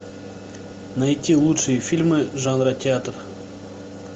найти лучшие фильмы жанра театр